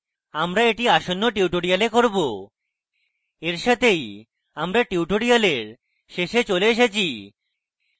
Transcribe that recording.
আমরা এটি আসন্ন tutorials করব we সাথেই আমরা tutorials শেষে চলে এসেছি